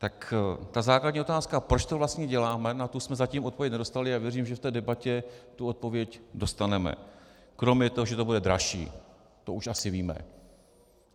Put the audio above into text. Tak ta základní otázka, proč to vlastně děláme, na tu jsme zatím odpověď nedostali a věřím, že v té debatě tu odpověď dostaneme, kromě toho, že to bude dražší, to už asi víme.